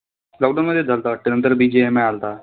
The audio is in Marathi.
Lockdown मध्ये झालता वाटतं त्यानंतर बीजीएमआय आलता.